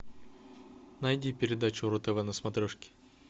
найди передачу ру тв на смотрешке